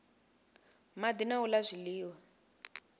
madi na u la zwiliwa